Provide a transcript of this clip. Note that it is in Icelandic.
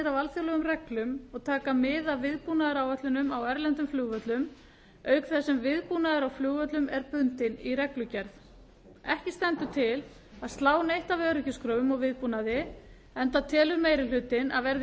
af alþjóðlegum reglum og taka mið af viðbúnaðaráætlunum á erlendum flugvöllum auk þess sem viðbúnaður á flugvöllum er bundinn í reglugerð ekki stendur til að slá neitt af öryggiskröfum og viðbúnaði enda telur meiri hlutinn að verði